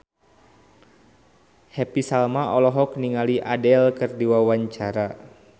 Happy Salma olohok ningali Adele keur diwawancara